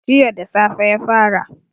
Jiya da safe ya fara